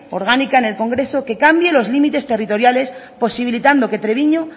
orgánica en el congreso que cambie los límites territoriales posibilitando que treviño